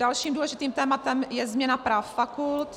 Dalším důležitým tématem je změna práv fakult.